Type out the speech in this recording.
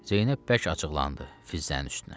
Zeynəb bəş açiqlandı Fizzənin üstünə.